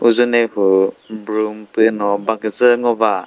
uzune hu broom püno ba küdzü ngo ba.